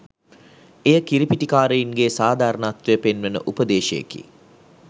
එය කිරිපිටි කාරයින්ගේ සාධාරණත්වය පෙන්වන උපදේශයකි.